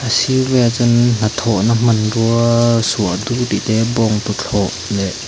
a sir velah chuan hnathawhna hmanruaaa suahdur tih te bawngtuthlawh leh.